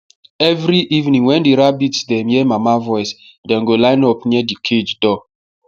every evening wen the rabitts dem hear mama voice dem go line up near the cage door